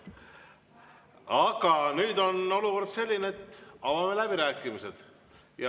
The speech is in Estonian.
Aga nüüd on olukord selline, et avame läbirääkimised.